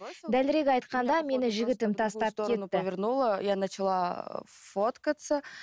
дәлірек айтқанда мені жігітім тастап кетті я начала фоткаться